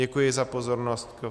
Děkuji za pozornost.